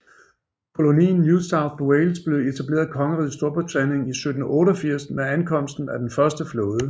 Kolonien New South Wales blev etableret af Kongeriget Storbritannien i 1788 med ankomsten af den første flåde